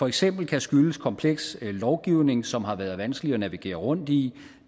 eksempel kan skyldes kompleks lovgivning som har været vanskelig at navigere rundt i